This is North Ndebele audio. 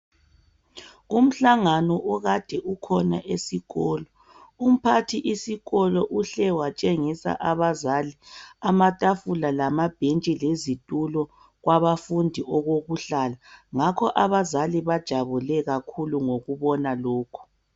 Umhlangano okade ukhona esikolo umphathi isikolo uhle watshengisa abazali amatafula lamabhentshi lezitulo kwabafundi okokuhlala ngakho abazali bajabule kakhulu ngokubona lokhu.